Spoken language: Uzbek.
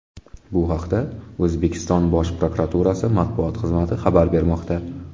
Bu haqda O‘zbekiston Bosh prokuraturasi matbuot xizmati xabar bermoqda .